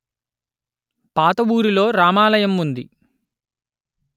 పాత ఊరి లో రామాలయం ఉంది